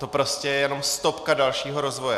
To je prostě jenom stopka dalšího rozvoje.